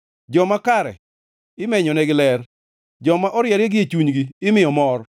Joma kare imenyonegi ler; joma oriere gie chunygi imiyo mor.